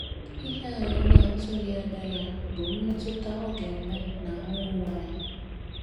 Ihe anyị na - atụghị anya ya bụ mmetụta ọ ga - enwe n’ahụ ụmụ anyị.